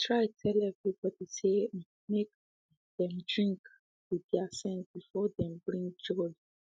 he try tell everybody say um make um them drink um with thier sense before them begin jolly